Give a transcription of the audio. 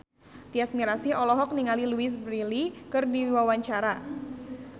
Tyas Mirasih olohok ningali Louise Brealey keur diwawancara